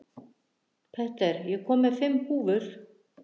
Petter, ég kom með fimm húfur!